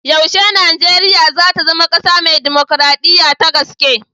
Yaushe Nijeriya za ta zama ƙasa mai dimukraɗiya ta gaske?